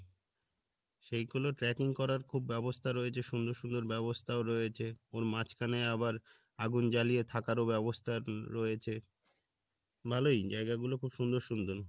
সেইগুলো tracking করার খুব ব্যবস্থা রয়েছে সুন্দর সুন্দর ব্যাবস্থাও রয়েছে ওর মাঝখানে আবার আগুন জ্বালিয়ে থাকারও ব্যবস্থা রয়েছে ভালোই জায়গাগুলো খুব সুন্দর সুন্দর